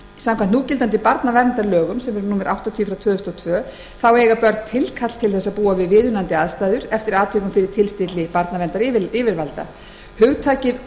samkvæmt núgildandi barnaverndarlögum sem eru númer áttatíu tvö þúsund og tvö eiga börn tilkall til þess að búa við viðunandi aðstæður eftir atvikum fyrir tilstilli barnaverndaryfirvalda hugtökin